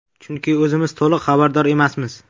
Chunki o‘zimiz to‘liq xabardor emasmiz.